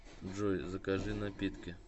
джой закажи напитки